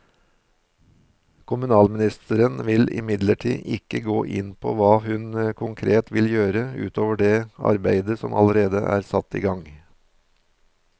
Kommunalministeren vil imidlertid ikke gå inn på hva hun konkret vil gjøre ut over det arbeidet som allerede er satt i gang.